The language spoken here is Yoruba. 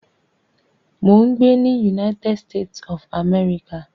Mò ń gbé ní United States of America